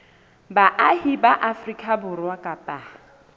baahi ba afrika borwa kapa